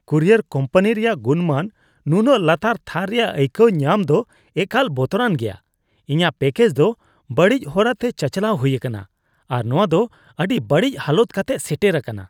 Courier company ᱨᱮᱭᱟᱜ ᱜᱩᱱᱢᱟᱱ ᱱᱩᱱᱟᱹᱜ ᱞᱟᱛᱟᱨ ᱛᱷᱟᱨ ᱨᱮᱭᱟᱜ ᱟᱹᱭᱠᱟᱹᱣ ᱧᱟᱢ ᱫᱚ ᱮᱠᱟᱞ ᱵᱚᱛᱚᱨᱟᱱ ᱜᱮᱭᱟ ᱾ ᱤᱧᱟᱹᱜ ᱯᱮᱹᱠᱮᱡ ᱫᱚ ᱵᱟᱹᱲᱤᱡ ᱦᱚᱨᱟᱛᱮ ᱪᱟᱪᱟᱞᱟᱣ ᱦᱩᱭ ᱟᱠᱟᱱᱟ, ᱟᱨ ᱱᱚᱶᱟ ᱫᱚ ᱟᱹᱰᱤ ᱵᱟᱹᱲᱤᱡ ᱦᱟᱞᱚᱛ ᱠᱟᱛᱮᱜ ᱥᱮᱴᱮᱨ ᱟᱠᱟᱱᱟ ᱾